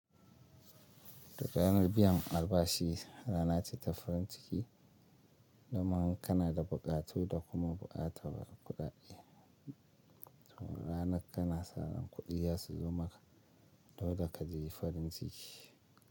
Duk ranar biyan albashi rana ce ta farin ciki, domin kana da buƙatu da kuma buƙatar kuɗaɗe. Ranar kana saran kuɗiya su zo maka, domin kada ka je farin ciki.